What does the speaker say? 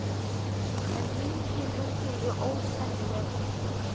En minningin um þig er ósennileg.